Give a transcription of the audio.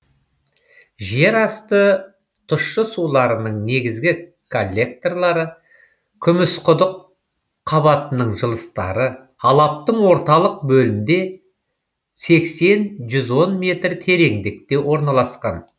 жер асты тұщы суларының негізгі коллекторлары күмісқұдық қабатының жылыстары алаптың орталық бөлінде сексен жүз он метр тереңдікте орналасқан